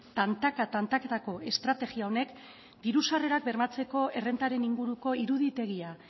tantaka tantakatako estrategia honek diru sarrerak bermatzearen errentaren inguruko iruditegia